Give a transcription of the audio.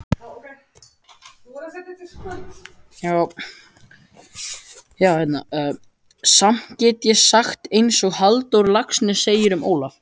Samt get ég sagt einsog Halldór Laxness segir um Ólaf